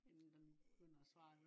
inden den begynder at svare